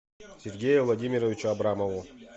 сергею владимировичу абрамову